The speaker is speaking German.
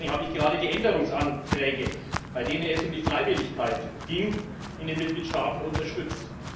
Deswegen habe ich gerade die Änderungsanträge, bei denen es um die Freiwilligkeit in den Mitgliedstaaten ging, unterstützt.